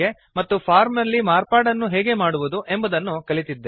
ಮತ್ತು ಫಾರ್ಮ್ ನಲ್ಲಿ ಮಾರ್ಪಾಡನ್ನು ಹೇಗೆ ಮಾಡುವುದು ಎಂಬುದನ್ನು ಕಲಿತಿದ್ದೇವೆ